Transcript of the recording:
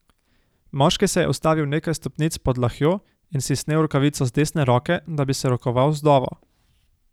Moški se je ustavil nekaj stopnic pod Lahjo in si snel rokavico z desne roke, da bi se rokoval z vdovo.